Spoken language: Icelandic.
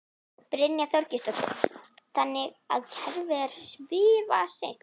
Brynja Þorgeirsdóttir: Þannig að kerfið er svifaseint?